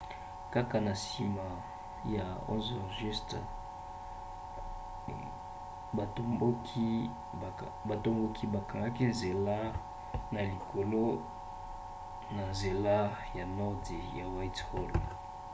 kaka na nsima ya 11:00 batomboki bakangaki nzela na likalo na nzela ya nord ya whitehall